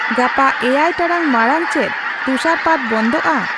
ᱜᱟᱯᱟ ᱮᱭᱟᱭ ᱴᱟᱲᱟᱝ ᱢᱟᱲᱟᱝ ᱪᱮᱫ ᱛᱩᱥᱟᱹᱨ ᱯᱟᱛ ᱵᱚᱱᱫᱷᱚᱼᱟ